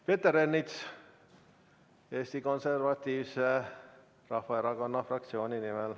Peeter Ernits Eesti Konservatiivse Rahvaerakonna fraktsiooni nimel.